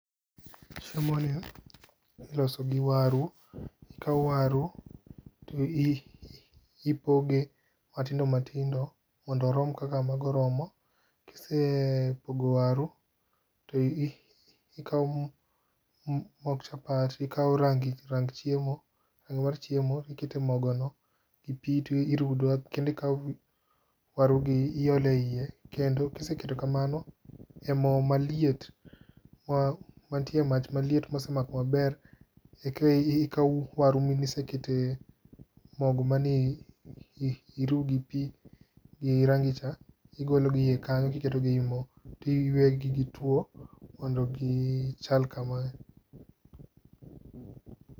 Chiemo ni iloso gi waru ikawo waru to ipoge matindo matindo mondo orom kaka mago romo. Kisepogo waru to i ikawo mok chapat ,ikawo rangi rang chiemo rangi mar chiemo ikete mogo no gi pii tirudo kendi kawo waru gi iole iye kendo kiseketo kamano e moo maliet, mantie mach maliet mosemako maber eki kawo waru misekete mogo mane ii iru gi pii gi rangi cha ,igolo gi ie kanyo tiketo gi e moo tiwegi giwto mondo gichal kama.